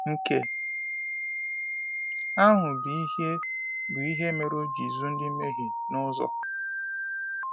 “Nke ahụ bụ ihe bụ ihe mere o ji zụ ndị mmehie n’ụzọ.”